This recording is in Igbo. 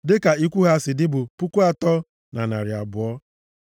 dịka ikwu ha si dị bụ puku atọ na narị abụọ (3,200).